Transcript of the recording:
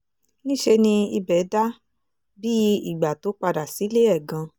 níṣẹ́ ni ibẹ̀ dà bíi ìgbà tó padà sílé ẹ̀ gan-an